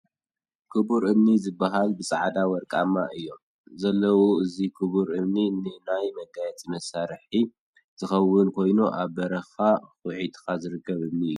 ክቡር እምኒ ዝበሃል ብፃዕዳን ወርቃማን እዮም ዘለዉ እዚ ክቡር እምኒ ን ናይ መጋየፂ መሰርሒ ዝከውን ኮይኑ ኣብ በረካ ኪÖትካ ዝርከብ እምኒ እዩ።